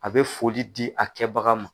A bɛ foli di a kɛbaga ma.